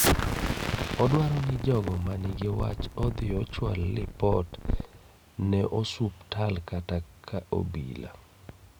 Odwaro ni jogo manigi wach odhi ochwal ripot ne osuptal kata ka obila